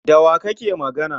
Da wa kake magana?